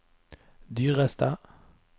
dyreste